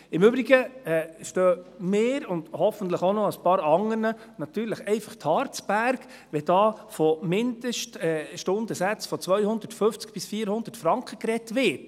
Im Übrigen stehen mir – und hoffentlich auch noch ein paar anderen – natürlich einfach die Haare zu Berge, wenn hier von Mindeststundensätzen von 250–400 Franken gesprochen wird.